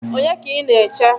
Onye ka ị na-eche?